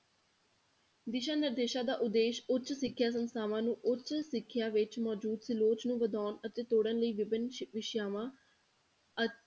ਦਿਸ਼ਾ ਨਿਰਦੇਸ਼ਾਂ ਦਾ ਉਦੇਸ਼ ਉੱਚ ਸਿੱਖਿਆ ਸੰਸਥਾਵਾਂ ਨੂੰ ਉੱਚ ਸਿੱਖਿਆ ਵਿੱਚ ਮੌਜੂਦ ਤੇ ਲੋਚ ਨੂੰ ਵਧਾਉਣ ਅਤੇ ਤੋੜਨ ਲਈ ਵਿਭਿੰਨ ਵਿਸ਼ਿਆਵਾਂ ~